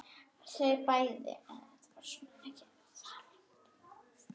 Þau bæði.